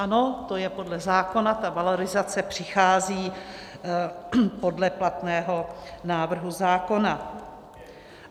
Ano, to je podle zákona, ta valorizace přichází podle platného návrhu zákona.